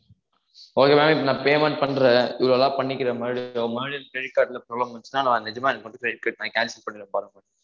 okay maam நா இப்போ payment பண்றேன் இவ்ளோலாம் பண்ணிருக்கேன் மறுபடியும் மறுபடியும் credit card ல problem வந்துச்சுனா நா நெஜமா அத கொண்டுபோய் நா cancel பண்ணிடுவேன் பாருங்க